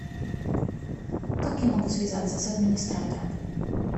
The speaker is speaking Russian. как я могу связаться с администратором